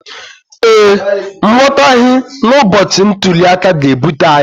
ee, nghọtahie n’ụbọchị ntuli aka ga-ebute agha